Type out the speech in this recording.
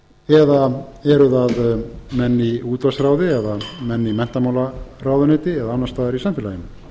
eða eru það menn í útvarpsráði eða menn í menntamálaráðuneyti eða annars staðar í samfélaginu